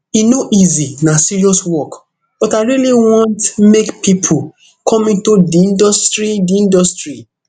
e no easy na serious work but i really want make pipo come into di industry di industry